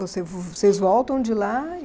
Você vocês voltam de lá e...